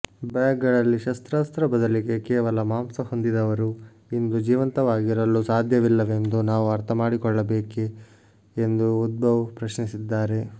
ಬ್ಯಾಗ್ಗಳಲ್ಲಿ ಶಸ್ತ್ರಾಸ್ತ್ರ ಬದಲಿಗೆ ಕೇವಲ ಮಾಂಸ ಹೊಂದಿದವರೂ ಇಂದು ಜೀವಂತವಾಗಿರಲು ಸಾಧ್ಯವಿಲ್ಲವೆಂದು ನಾವು ಅರ್ಥ ಮಾಡಿಕೊಳ್ಳಬೇಕೇ ಎಂದು ಉದ್ಧವ್ ಪ್ರಶ್ನಿಸಿದ್ದಾರೆ